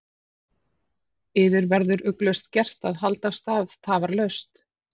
Yður verður ugglaust gert að halda af stað tafarlaust.